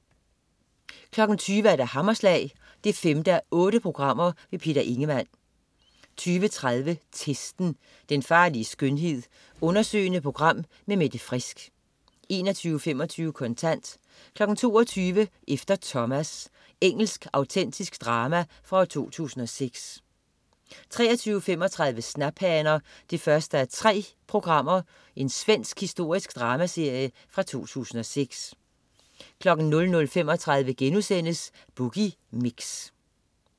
20.00 Hammerslag 5:8. Peter Ingemann 20.30 Testen. Den farlige skønhed. Undersøgende program med Mette Frisk 21.25 Kontant 22.00 Efter Thomas. Engelsk autentisk drama fra 2006 23.35 Snaphaner 1:3. Svensk historisk dramaserie fra 2006 00.35 Boogie Mix*